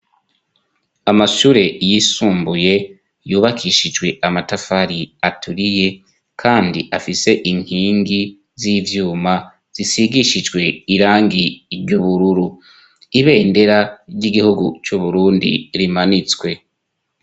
amashure yisumbuye yubakishijwe amatafari aturiye kandi afise inkingi z'ivyuma zisigishijwe irangi ryu bururu ibendera ry'igihugu c'uburundi rimanitswe